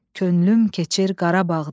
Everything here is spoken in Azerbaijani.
Könlüm keçir Qarabağdan.